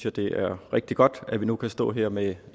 at det er rigtig godt at vi nu kan stå her med